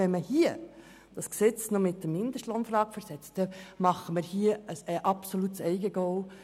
Wenn wir das Gesetz noch mit der Mindestlohnfrage aufblähen, erzielen wir hier ein absolutes Eigentor.